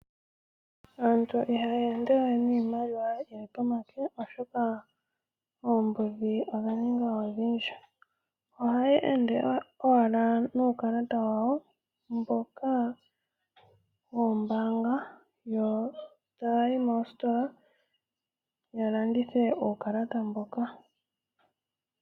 Aantu iha ya ende we niimaliwa ya wo pomake oshoka oombudhi odha ninga odhindji, ohaya ende owala nuukalata wawo mboka woombanga, eta ya yi moositola eta ya landitha uukalata mboka.